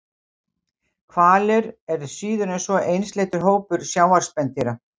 Hvalir eru síður en svo einsleitur hópur sjávarspendýra.